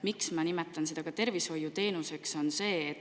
Miks ma nimetan seda tervishoiuteenuseks?